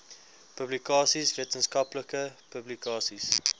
publikasies wetenskaplike publikasies